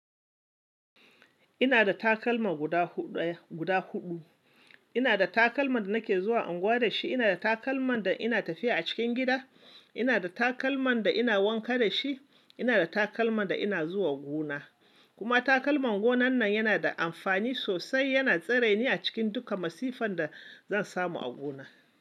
Ina da takalma guda huɗ-guda huɗu. Ina da takalman da nake zuwa unguwa da shi, ina da takalman da ina tafiya a cikin gida, ina da takalman da ina wanka da shi, ina da takalman da ina zuwa gona. Kuma takalman gonan nan yana da amfani sosai, yana tsare ni a cikin duka masifan da zan samu a gona.